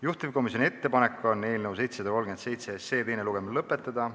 Juhtivkomisjoni ettepanek on eelnõu 737 teine lugemine lõpetada.